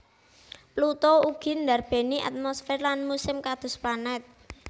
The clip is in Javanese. Pluto ugi ndarbèni atmosfer lan musim kados planet